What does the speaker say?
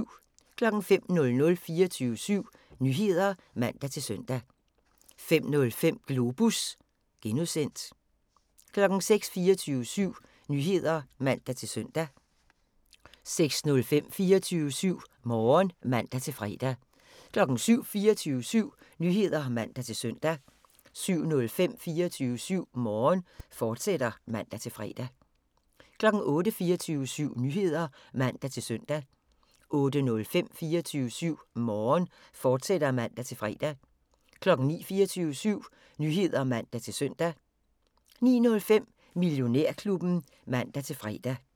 05:00: 24syv Nyheder (man-søn) 05:05: Globus (G) 06:00: 24syv Nyheder (man-søn) 06:05: 24syv Morgen (man-fre) 07:00: 24syv Nyheder (man-søn) 07:05: 24syv Morgen, fortsat (man-fre) 08:00: 24syv Nyheder (man-søn) 08:05: 24syv Morgen, fortsat (man-fre) 09:00: 24syv Nyheder (man-søn) 09:05: Millionærklubben (man-fre)